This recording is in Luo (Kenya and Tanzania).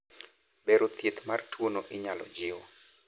bero, thieth mar tuono inyalo jiw